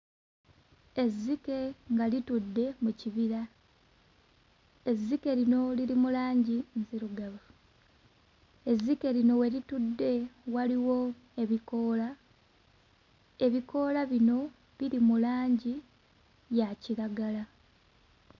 Ezzike nga litudde mu kibira. Ezzike lino liri mu langi nzirugavu, ezzike lino we litudde waliwo ebikoola; ebikoola bino biri mu langi ya kiragala.